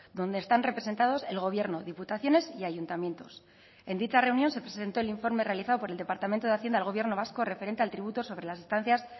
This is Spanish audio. donde están representados el gobierno diputaciones y ayuntamientos en dicha reunión se presentó el informe realizado por el departamento de hacienda al gobierno vasco referente al tributo sobre las estancias